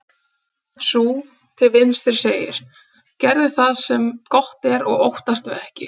Sú til vinstri segir: Gerðu það sem gott er og óttastu ekki.